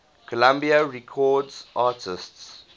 columbia records artists